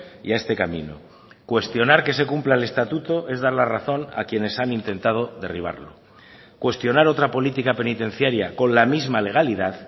y a este camino cuestionar que se cumpla el estatuto es dar la razón a quienes han intentado derribarlo cuestionar otra política penitenciaria con la misma legalidad